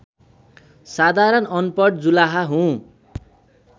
साधारण अनपढ जुलाहा हुँ